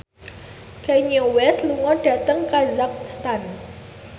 Kanye West lunga dhateng kazakhstan